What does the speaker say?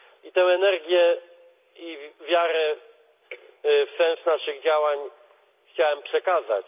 Tę energię i wiarę w sens naszych działań chciałem tutaj przekazać.